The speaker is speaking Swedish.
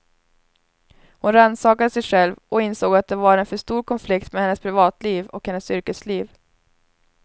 Hon rannsakade sig själv och insåg att det var en för stor konflikt mellan hennes privatliv och hennes yrkesliv.